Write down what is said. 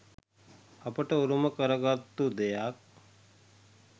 අපට උරුම කරගත්තු දෙයක්.